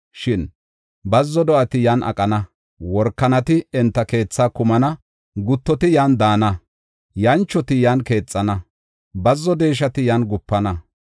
Shin bazzo do7ati yan aqana; workanati enta keethaa kumana; guttoti yan daana; yanchoti yan keexana; bazzo deeshati yan gupana.